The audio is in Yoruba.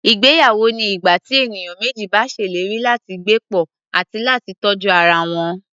Ìgbéyawó ni ìgbà tí ènìyàn méjì bá ṣèlérí láti gbé pọ̀, àti láti tọ́jú ara wọn.